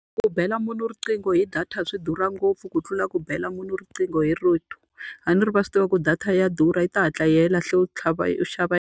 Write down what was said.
Ku bela munhu riqingho hi data swi durha ngopfu ku tlula ku bela munhu riqingho hi rito. A ni ri va swi tiva ku data ya durha yi ta hatla tlhava u xava .